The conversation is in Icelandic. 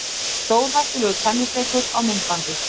Stórhættulegur tennisleikur á myndbandi